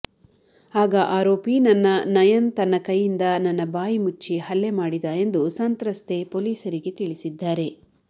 ಆಗ ಆರೋಪಿ ನನ್ನ ನಯನ್ ತನ್ನ ಕೈಯಿಂದ ನನ್ನ ಬಾಯಿ ಮುಚ್ಚಿ ಹಲ್ಲೆ ಮಾಡಿದ ಎಂದು ಸಂತ್ರಸ್ತೆ ಪೊಲೀಸರಿಗೆ ತಿಳಿಸಿದ್ದಾರೆ